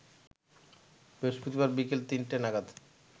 বৃহস্পতিবার বিকেল তিনটে নাগাদ